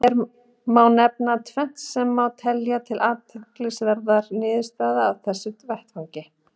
Hér má nefna tvennt sem má telja til athyglisverðra niðurstaðna af þessum vettvangi.